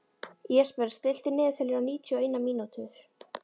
Jesper, stilltu niðurteljara á níutíu og eina mínútur.